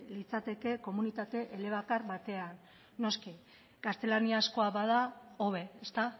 litzateke komunitate elebakar batean noski gaztelaniazkoa bada hobe ezta